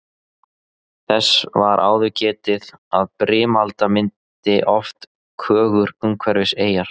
Þess var áður getið að brimalda myndi oft kögur umhverfis eyjar.